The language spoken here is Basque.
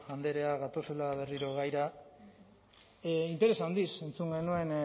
andrea gatoz berriro gaira interes handiz entzun genuen